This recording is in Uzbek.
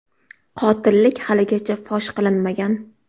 Qotillik haligacha fosh qilinmagan.